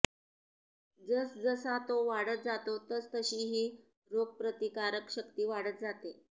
जस जसा तो वाढत जातो तस तशी ही रोगप्रतिकारक शक्ती वाढत जाते